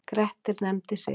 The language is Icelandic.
Grettir nefndi sig.